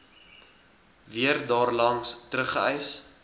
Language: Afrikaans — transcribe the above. weer daarlangs teruggereis